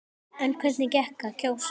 En hvernig gekk að kjósa?